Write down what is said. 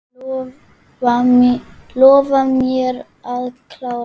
Lof mér að klára.